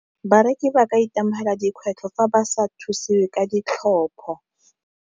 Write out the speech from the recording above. Bareki ba ka itemogela dikgwetlho fa ba sa thusiwe ka ditlhopho.